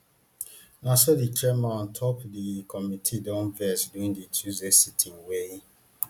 na so di chairman on top di committee don vex during tuesday sitting wey